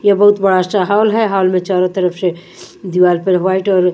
ये बहुत बड़ा सा हॉल है हॉल में चारों तरफ से दीवार पर व्हाइट और--